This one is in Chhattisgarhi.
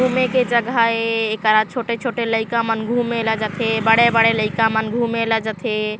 घूमे के जगह ए एकरा छोटे-छोटे लइका मन घूमे ला जाथे बड़े-बड़े घूमे ला जाथे।